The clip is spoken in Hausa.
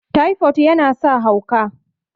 typod yana sa hauka